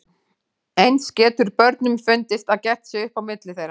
Eins getur börnunum fundist að gert sé upp á milli þeirra.